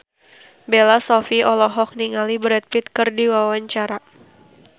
Bella Shofie olohok ningali Brad Pitt keur diwawancara